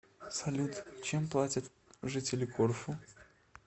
салют чем платят жители корфу